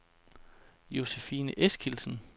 Josephine Eskildsen